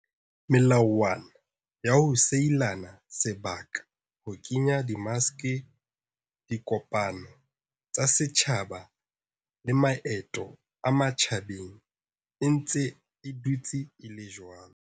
Melawana ya ho sielana sebaka, ho kenya di maske, dikopano tsa setjhaba le maeto a matjhabeng e ntse e dutse e le jwalo.